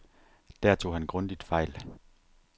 Der tog han grundigt fejl.